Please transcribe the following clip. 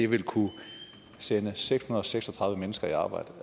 ville kunne sende seks hundrede og seks og tredive mennesker i arbejde